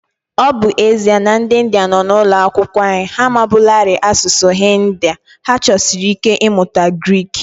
Ọ bụ ezie na ndị Indiya nọ n’ụlọ akwụkwọ anyị amabuolarị asụsụ Hindi, ha chọsiri ike ịmụta Grik.